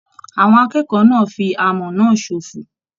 Àwọn akẹ́kọ̀ọ́ náà fí amọ̀ náà ṣofo.